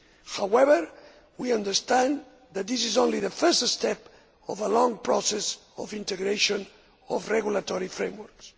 However, we understand that this is only the first step in a long process of integration of regulatory frameworks.